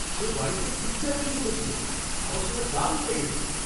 সে বাড়িতে পিৎজা তৈরি করেছিল। আমার সেটা দারুণ লেগেছে।